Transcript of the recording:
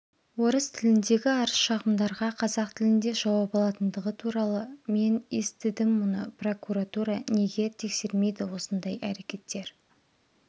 орыс тіліндегі арызшағымдарға қазақ тілінде жауап алатындығы туралы мен естідім мұны прокуратура неге тексермейді осындай әрекеттер